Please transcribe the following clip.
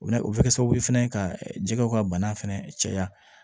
O na o bɛ kɛ sababu ye fɛnɛ ka jɛgɛw ka bana fɛnɛ caya